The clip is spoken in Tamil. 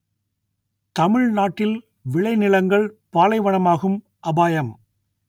தமிழ்நாட்டில் விளைநிலங்கள் பாலைவனமாகும் அபாயம்